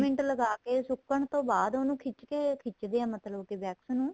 minute ਲਗਾਕੇ ਸੁੱਕਣ ਤੋਂ ਬਾਅਦ ਉਹਨੂੰ ਖਿੱਚ ਕੇ ਖਿੱਚਦੇ ਏ ਮਤਲਬ ਕੀ wax ਨੂੰ